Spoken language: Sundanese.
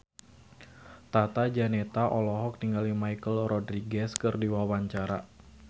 Tata Janeta olohok ningali Michelle Rodriguez keur diwawancara